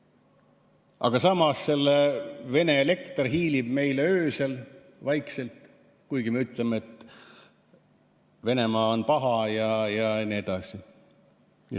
Aga samas hiilib Vene elekter meile vaikselt öösel, kuigi me ütleme, et Venemaa on paha jne.